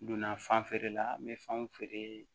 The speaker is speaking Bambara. N donna fan feere la n bɛ fanw feere